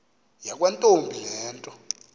yakwantombi le nto